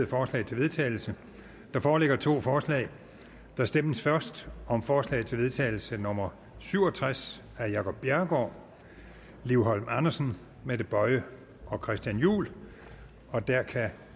forslag til vedtagelse der foreligger to forslag der stemmes først om forslag til vedtagelse nummer syv og tres af jacob bjerregaard liv holm andersen mette boye og christian juhl og der kan